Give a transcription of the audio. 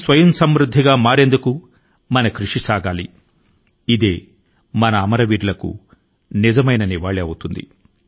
ఒక స్వావలంబనయుత భారతదేశం కోసం మనందరం కృషి చేయాలి అదే అమరవీరుల కు అర్పించే నిజమైన శ్రద్దాంజలి అవుతుంది